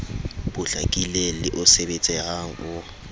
potlakileng le o sebetsehang o